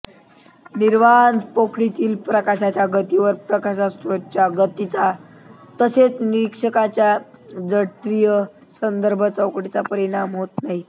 निर्वात पोकळीतील प्रकाशाच्या गतीवर प्रकाशस्रोताच्या गतीचा तसेच निरीक्षकाच्या जडत्वीय संदर्भचौकटीचा परिणाम होत नाही